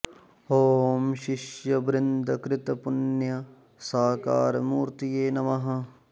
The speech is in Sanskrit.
ॐ शिष्य वृन्द कृत पुण्य साकार मूर्तये नमः